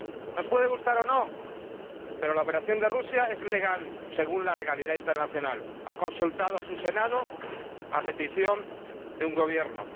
Nos puede gustar o no, pero la operación de Rusia es legal según la legalidad internacional ha consultado a su Senado a petición de un Gobierno.